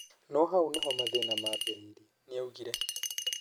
No hau nĩho mathĩna mambĩrĩirie", nĩoigire.